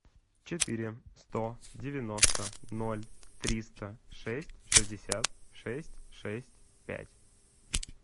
четыре сто девяносто ноль триста шесть шестьдесят шесть шесть пять